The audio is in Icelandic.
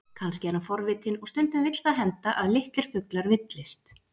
Kannski er hann forvitinn, og stundum vill það henda að litlir fuglar villist.